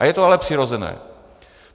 A je to ale přirozené.